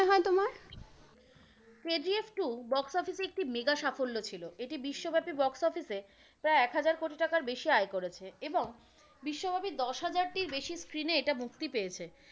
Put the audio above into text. KGF two box office এ একটি mega সাফল্য ছিল। এটি বিশ্বব্যাপী box office এ প্রায় এক হাজার কোটি টাকার বেশি আয় করেছে এবং বিশ্বব্যাপী দশ হাজারটির বেশি screen এ মুক্তি পেয়েছে।